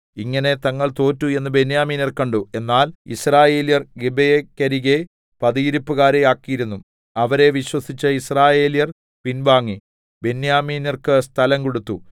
ഇങ്ങനെ തങ്ങൾ തോറ്റു എന്ന് ബെന്യാമീന്യർ കണ്ടു എന്നാൽ യിസ്രായേല്യർ ഗിബെയെക്കരികെ പതിയിരിപ്പുകാരെ ആക്കിയിരുന്നു അവരെ വിശ്വസിച്ച് യിസ്രായേല്യർ പിൻവാങ്ങി ബെന്യാമീന്യർക്ക് സ്ഥലം കൊടുത്തു